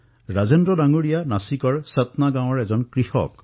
ৰাজেন্দ্ৰ মহোদয় নাছিকৰ সতনা গাঁৱৰ এজন কৃষক